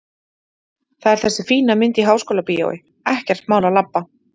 Það er þessi fína mynd í Háskólabíói, ekkert mál að labba!